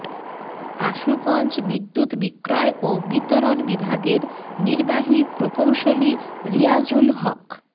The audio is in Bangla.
আশুগঞ্জ বিদ্যুৎ বিক্রয় ও বিতরণ বিভাগের নির্বাহী প্রকৌশলী রিয়াজুল হক